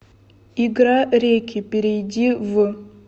игра реки перейди в